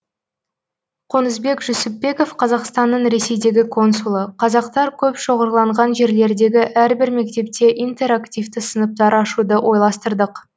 қонысбек жүсіпбеков қазақстанның ресейдегі консулы қазақтар көп шоғырланған жерлердегі әрбір мектепте интерактивті сыныптар ашуды ойластырдық